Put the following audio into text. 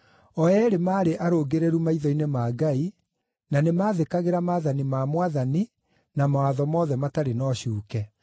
O eerĩ maarĩ arũngĩrĩru maitho-inĩ ma Ngai, na nĩmathĩkagĩra maathani ma Mwathani na mawatho mothe matarĩ na ũcuuke.